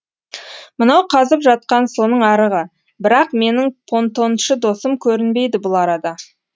мынау қазып жатқан соның арығы бірақ менің понтоншы досым көрінбейді бұл арада